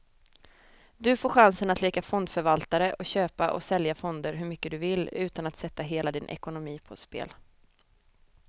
Du får chansen att leka fondförvaltare och köpa och sälja fonder hur mycket du vill, utan att sätta hela din ekonomi på spel.